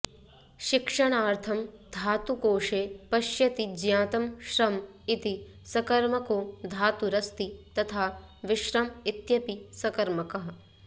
शिक्षणार्थं धातुकोषे पश्यति ज्ञातं श्रम् इति सकर्मको धातुरस्ति तथा विश्रम् इत्यपि सकर्मकः